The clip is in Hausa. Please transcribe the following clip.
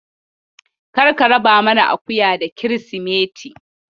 Kar ka raba naman akuya da Kirsimeti.